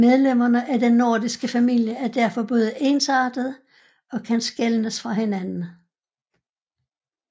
Medlemmerne af den nordiske familie er derfor både ensartede og kan skelnes fra hinanden